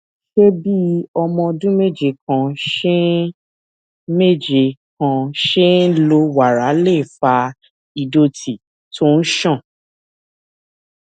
ṣé bí ọmọ ọdún méje kan ṣe méje kan ṣe ń lo wàrà lè fa ìdòtí tó ń ṣàn